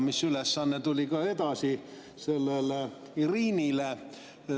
See ülesanne tuli ka üle sellele Irinile.